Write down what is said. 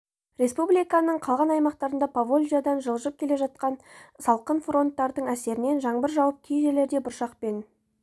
республиканың қалған аймағында поволжьядан жылжып келе жатқан салқын фронттардың әсерінен жаңбыр жауып кей жерлерде бұршақ пен